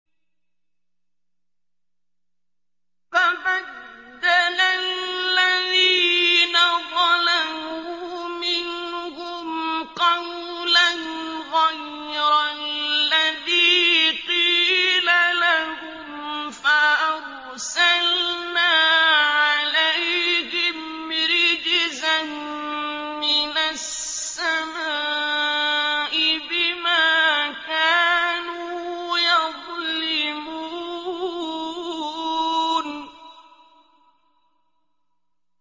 فَبَدَّلَ الَّذِينَ ظَلَمُوا مِنْهُمْ قَوْلًا غَيْرَ الَّذِي قِيلَ لَهُمْ فَأَرْسَلْنَا عَلَيْهِمْ رِجْزًا مِّنَ السَّمَاءِ بِمَا كَانُوا يَظْلِمُونَ